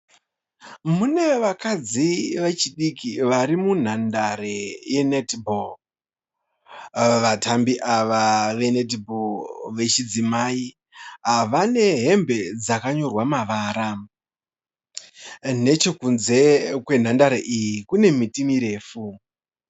Mune vakadzi vechidiki vari munhandare yenetibho. Vatambi ava venetibho vechidzimai vane hembe dzakanyorwa mavara. Nechekunze kwenhandare iyi kune miti mirefu.